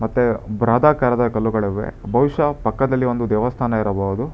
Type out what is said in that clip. ಮತ್ತೆ ಬೃಹದಾಕಾರದ ಕಲ್ಲುಗಳಿವೆ ಬಹುಶಃ ಪಕ್ಕದಲ್ಲಿ ಒಂದು ದೇವಸ್ಥಾನ ಇರಬಹುದು.